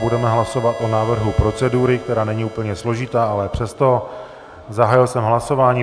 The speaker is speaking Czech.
Budeme hlasovat o návrhu procedury, která není úplně složitá, ale přesto, zahájil jsem hlasování.